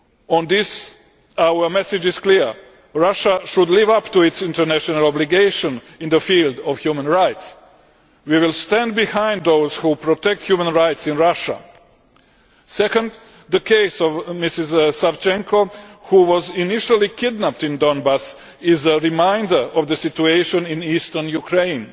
On this, our message is clear Russia should live up to its international obligations in the field of human rights. We will stand behind those who protect human rights in Russia. Secondly, the case of Ms Savchenko, who was initially kidnapped in Donbass, is a reminder of the situation in eastern Ukraine.